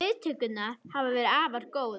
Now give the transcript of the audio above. Viðtökurnar hafa verið afar góðar